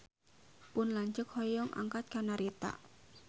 Pun lanceuk hoyong angkat ka Narita